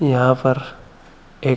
यहाँ पर एक--